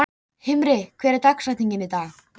Himri, hver er dagsetningin í dag?